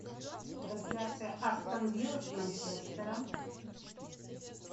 трансляция астон виллы с манчестером